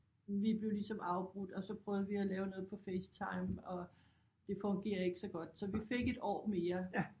Vi blev ligesom afbrudt og så prøvede vi at lave noget på FaceTime og det fungerede ikke så godt så vi fik et år mere